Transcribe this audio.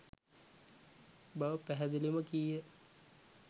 බව පැහැදිලිවම කීය.